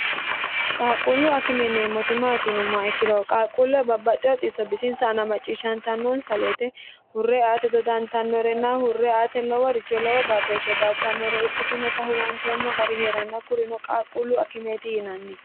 qaaqquullu akime yineemmoti maati yinummoha ikkiroho qaaqquulla babbaxxe hoxisso bisinsa ana macciishshantannoonsa woyite hurre aate dodantannorenna hurre ate lowo richo lowo baatooshshe baattannore ikkitinota huwanteemmo gari heeranna kurino qaaqquullu akimeeti yinanni